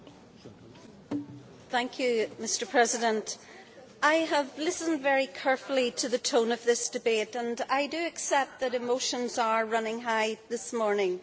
Mr President, I have listened very carefully to the tone of this debate and I do accept that emotions are running high this morning.